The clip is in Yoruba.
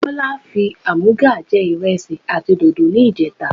Bọlá fi àmúga jẹ ìrẹsì àti dòdò ni ìjẹta.